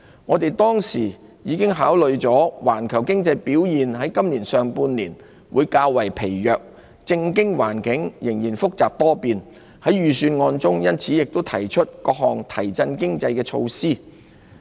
我們當時已考慮了環球經濟表現在今年上半年會較疲弱，政經環境仍然複雜多變，因此亦在預算案中提出各項提振經濟的措施。